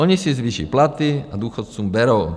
Oni si zvýší platy, a důchodcům berou.